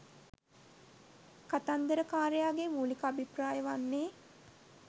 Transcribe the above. කතන්දරකාරයාගේ මූලික අභිප්‍රාය වන්නේ